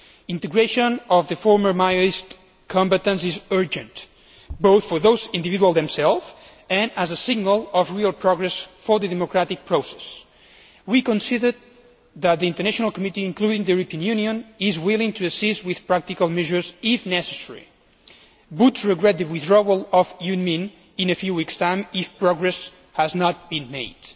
Integration of the former Maoist combatants is urgent both for those individuals themselves and as a signal of real progress for the democratic process. We consider that the international committee, including the European Union, is willing to assist with practical measures if necessary, but regret the withdrawal of UNMIN in a few weeks' time if progress has not been made.